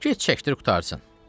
Get çəkdir qurtarsın.